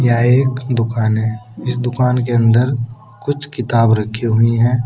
यह एक दुकान है। इस दुकान के अंदर कुछ किताब रखी हुई हैं।